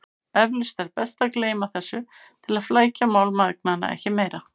Eflaust er best að gleyma þessu til að flækja mál mæðgnanna ekki meira.